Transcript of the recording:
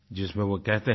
जिसमें वो कहते हैं